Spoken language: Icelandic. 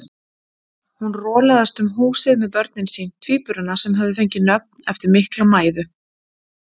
Hún rolaðist um húsið með börnin sín, tvíburana sem höfðu fengið nöfn eftir mikla mæðu.